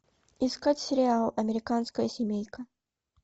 искать сериал американская семейка